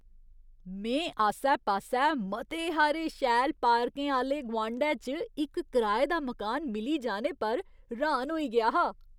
में आस्सै पास्सै मते हारे शैल पार्कें आह्‌ले गुआंढै च इक कराए दा मकान मिली जाने पर र्हान होई गेआ हा।